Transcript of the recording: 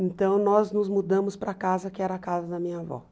Então, nós nos mudamos para a casa que era a casa da minha avó.